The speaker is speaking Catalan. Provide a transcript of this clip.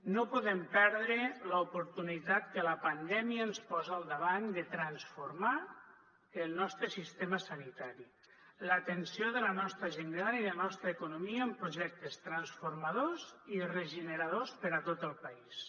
no podem perdre l’oportunitat que la pandèmia ens posa al davant de transformar el nostre sistema sanitari l’atenció de la nostra gent gran i la nostra economia amb projectes transformadors i regeneradors per a tot el país